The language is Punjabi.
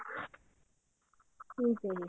ਠੀਕ ਹੈ ਜੀ